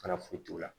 Fana foyi t'o la